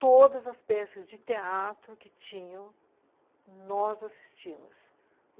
Todas as peças de teatro que tinham, nós assistimos.